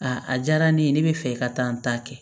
a diyara ne ye ne bɛ fɛ ka taa n ta kɛ